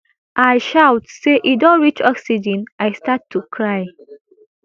i shout say e don reach oxygen i start to cry